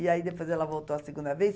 E aí depois ela voltou a segunda vez.